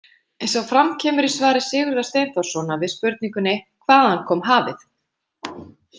Eins og fram kemur í svari Sigurðar Steinþórssonar við spurningunni „Hvaðan kom hafið?“